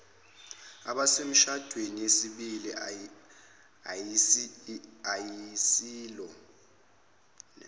abasemishadweni yesibili ayisilo